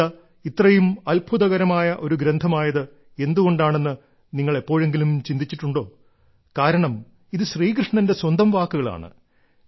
ഗീത ഇത്രയും അത്ഭുതകരമായ ഒരു ഗ്രന്ഥമായത് എന്തുകൊണ്ടാണെന്ന് നിങ്ങൾ എപ്പോഴെങ്കിലും ചിന്തിച്ചിട്ടുണ്ടോ കാരണം ഇത് ശ്രീകൃഷ്ണന്റെ സ്വന്തം വാക്കുകളാണ്